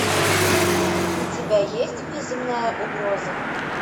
у тебя есть внеземная угроза